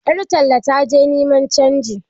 Yar tallan ta je niman canji.